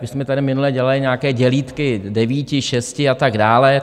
My jsme tady minule dělali nějaké dělítky devíti, šesti a tak dále.